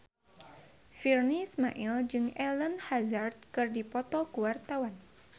Virnie Ismail jeung Eden Hazard keur dipoto ku wartawan